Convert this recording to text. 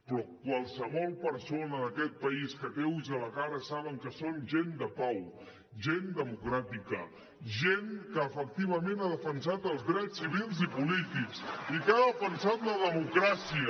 però qualsevol persona d’aquest país que té ulls a la cara sap que són gent de pau gent democràtica gent que efectivament ha defensat els drets civils i polítics i que ha defensat la democràcia